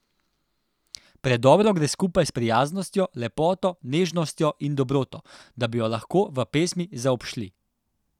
Predobro gre skupaj s prijaznostjo, lepoto, nežnostjo in dobroto, da bi jo lahko v pesmi zaobšli.